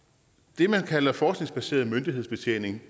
det man kalder forskningsbaseret myndighedsbetjening